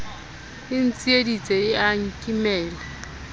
e ntsieditse e a nkimela